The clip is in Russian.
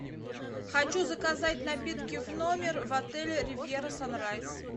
хочу заказать напитки в номер в отеле ривьера санрайз